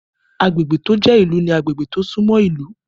Agbègbè tó jẹ́ ìlú ní agbègbè tó sún mọ́ ìlú